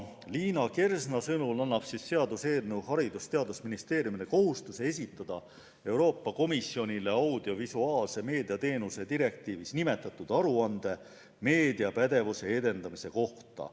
Liina Kersna sõnul paneb seaduseelnõu Haridus- ja Teadusministeeriumile kohustuse esitada Euroopa Komisjonile audiovisuaalmeedia teenuste direktiivis nimetatud aruanne meediapädevuse edendamise kohta.